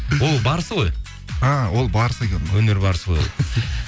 ол барысы ғой а ол барысы екен ғой өнер барысы ғой ол